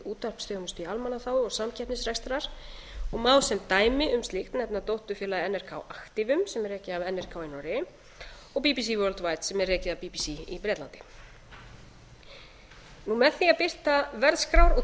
útvarpsþjónustu í almannaþágu og samkeppnisrekstrar og má sem dæmi um slíkt nefna dótturfélag nrk aktivum sem er rekið af nrk í noregi og bbc worldwide sem er rekið af bbc í bretlandi með því að birta verðskrár og